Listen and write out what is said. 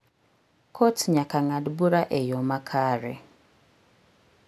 Kot nyaka ng'ad bura e yo makare.